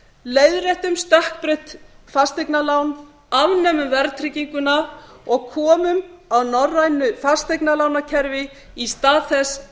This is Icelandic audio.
leiðréttum stökkbreytt fasteignalán afnemum verðtrygginguna og komum á norrænu fasteignalánakerfi í stað þess